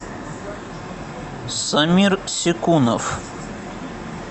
самир секунов